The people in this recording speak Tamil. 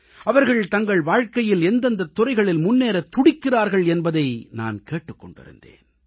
அவர்கள் தங்கள் வாழ்க்கையில் எந்தெந்த துறைகளில் முன்னேறத் துடிக்கிறார்கள் என்பதை நான் கேட்டுக் கொண்டிருந்தேன்